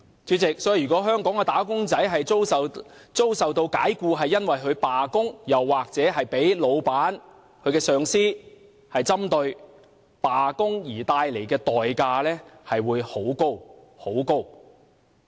主席，如果香港的"打工仔"因罷工而遭解僱，又或被老闆或上司針對，罷工的代價便很高。